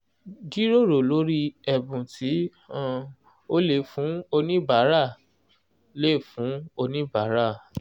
jíròrò lórí ẹ̀bùn tí um o lè fún oníbàárà lè fún oníbàárà um